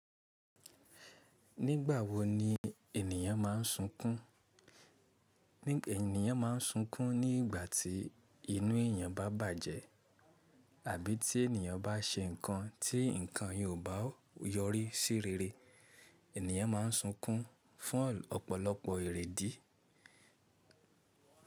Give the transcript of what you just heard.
Nígbà wo ni ènìyàn má n sunkún? Ẹ̀nìyàn má n sunkún nígbà tí inú ènìyàn bá bàjẹ́ àbí tí ènìyàn bá ṣe ǹkan tí ǹkan yóò bá yọrí sí rere. Ènìyàn má n sunkún fún ọ̀pọ̀lọpọ̀ ìrẹ́dì.